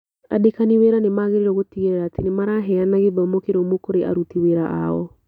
Andĩkani wĩra nĩ magĩrĩirũo gũtigĩrĩra atĩ nĩ maraheana gĩthomo kĩrũmu kũrĩ aruti wĩra ao.